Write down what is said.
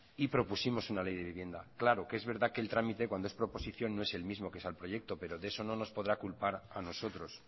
y propusimos una ley de vivienda claro que es verdad que el trámite cuando es proposición no es el mismo que es el proyecto pero de eso no nos podrá culpar a nosotros